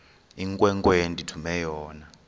inkwenkwe endithume yona